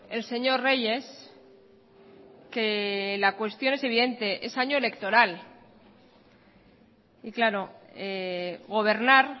el señor reyes que la cuestión es evidente es año electoral y claro gobernar